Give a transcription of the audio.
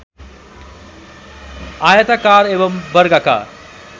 आयताकार एवम् वर्गाकार